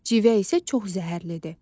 Civə isə çox zəhərlidir.